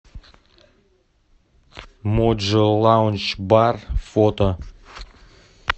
моджо лаундж бар фото